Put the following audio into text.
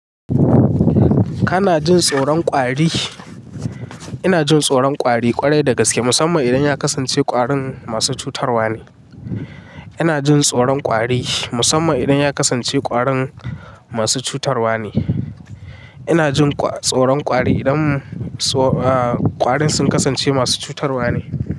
Kana jin tsoron kwari? Ina jin tsoron kwari ƙwarai da gaske musamman idan ya kasance ƙwarin masu cutarwa ne. Ina jin tsoron kwari musamman idan ya kasance ƙwarin masu cutarwa ne. Ina jin tsoron ƙwari idan ƙwarin sun kasance masu cutarwa ne.